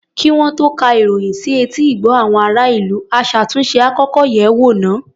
Kí wọ́n tó ka ìròyìn sí etí ìgbọ́ àwọn ará-ìlú, aṣàtúnṣe á kọ́kọ́ yẹ̀ ẹ́ wò náà.